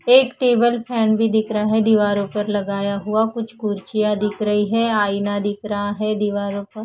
एक table fan भीं दिख रहा दीवारों पर लगाया हुआ कुछ कुर्चिया दिख रहीं हैं आयना दिख रहा हैं दीवारों पर--